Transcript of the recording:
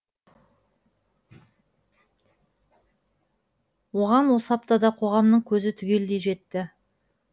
оған осы аптада қоғамның көзі түгелдей жетті